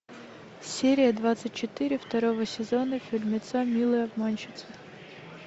серия двадцать четыре второго сезона фильмеца милые обманщицы